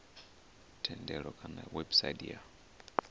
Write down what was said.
thendelo kana kha website ya